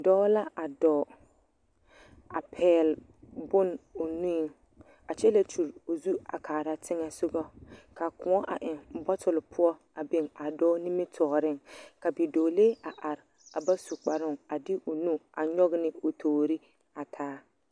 Dͻͻ la a dͻͻŋ, a pԑgele bone o nuiŋ a kyԑ la kyuri o zu a kaara teŋԑ sogͻ, ka kõͻ a eŋ bͻtole poͻ a biŋ a dͻͻ nimitͻͻreŋ. Ka bidͻͻlee a are a ba su kparoo a de o nu a nyͻge ne o toori taa